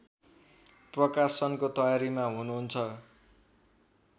प्रकाशनको तयारीमा हुनुहुन्छ